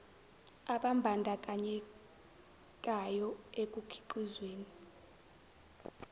ababan dakanyekayo ekukhiqizweni